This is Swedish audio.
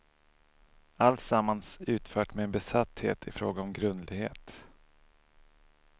Alltsammans utfört med en besatthet i fråga om grundlighet.